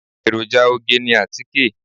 Èròjà oge ni àtíkè.